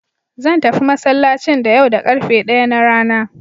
Zan tafi masallacin da yau da ƙarfe ɗaya na rana.